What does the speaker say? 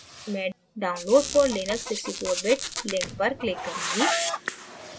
मैं download for linux 64 bit link पर click करूँगी